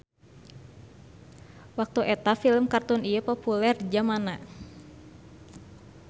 Waktu eta film kartun ieu populer di jamanana.